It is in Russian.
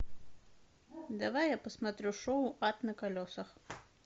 давай я посмотрю шоу ад на колесах